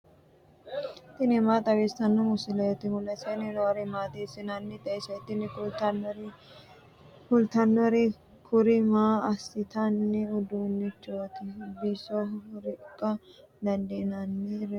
tini maa xawissanno misileeti ? mulese noori maati ? hiissinannite ise ? tini kultannori kuri maa assinanni uduunnichooti bisoho riqqa dandiinannireetikka